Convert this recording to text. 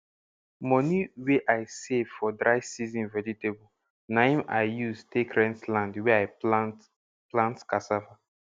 moni wey i save for dry season vegetable na hin i use take rent land wey i plant plant casssava